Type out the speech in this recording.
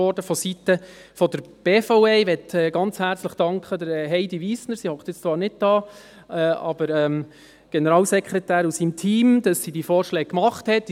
Ich möchte Heidi Wiestner, sie sitzt zwar nicht hier, und dem Generalsekretär und seinem Team für diese Vorschläge ganz herzlich danken.